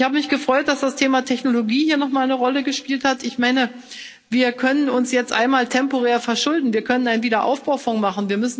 Ich habe mich gefreut, dass das Thema Technologie hier noch einmal eine Rolle gespielt hat, Ich meine, wir können uns jetzt einmal temporär verschulden, wir können einen Aufbaufonds auflegen.